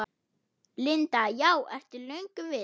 Linda: Já, ertu löngu viss?